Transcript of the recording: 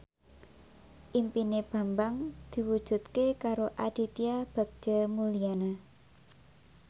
impine Bambang diwujudke karo Aditya Bagja Mulyana